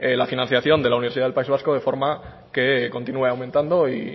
la financiación de la universidad del país vasco de forma que continúe aumentando y